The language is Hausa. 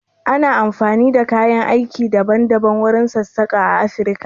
Ana amfani da kayan aiki daban daban wurin sassaƙa a Afirka.